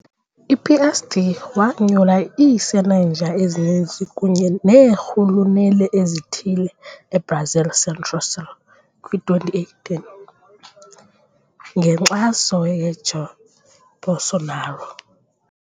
I-PSD wanyula iisenenja ezininzi kunye neerhuluneli ezithile eBrazil Centro-Sul kwi-2018, ngenkxaso Jair Bolsonaro.